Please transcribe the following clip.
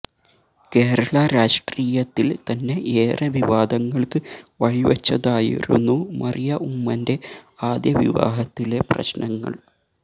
കേരള രാഷ്ട്രീയത്തില് തന്നെ ഏറെ വിവാദങ്ങള്ക്ക് വഴിവച്ചതായിരുന്നു മറിയ ഉമ്മന്റെ ആദ്യ വിവാഹത്തിലെ പ്രശ്നങ്ങള്